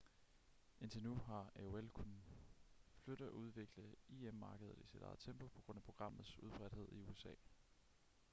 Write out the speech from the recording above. indtil nu har aol kunnet flytte og udvikle im-markedet i sit eget tempo på grund af programmets udbredthed i usa